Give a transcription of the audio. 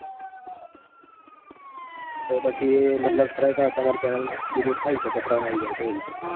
તો પછી મતલબ strike આવે તો તમારી channel delete થઇ શકે, ત્રણ આવી જાય તો એવું છે